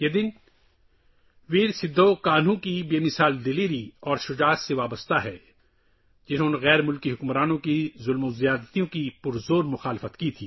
یہ دن بہادر سدھو کانہو کی بے مثال جرات سے وابستہ ہے جنہوں نے غیر ملکی حکمرانوں کے مظالم کا بھرپور مقابلہ کیا